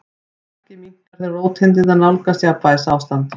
Merkið minnkar þegar róteindirnar nálgast jafnvægisástand.